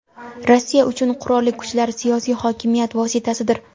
Rossiya uchun qurolli kuchlar siyosiy hokimiyat vositasidir.